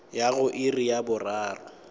ya go iri ya boraro